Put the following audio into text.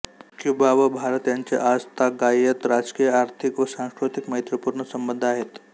Cuba व भारत यांचे आजतागायत राजकीय आर्थिक व सांस्कृतिक मैत्रीपूर्ण संबंधआहेत